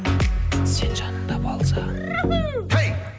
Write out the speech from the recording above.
сен жанымда болсаң